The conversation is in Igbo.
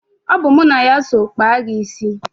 Ọ bụ mụ na ya so kpaa gị isi.